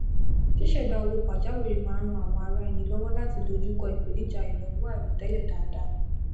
ṣíṣẹdá owó pajáwìrì máa ń ran àwọn ará ẹni lọwọ láti dojú kọ ipenija ìnáwó àìròtẹlẹ dáadáa